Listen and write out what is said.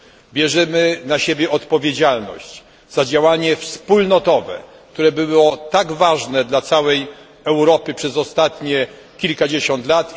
bierzemy na siebie odpowiedzialność za działanie wspólnotowe, które było tak ważne dla całej Europy przez ostatnich kilkadziesiąt lat.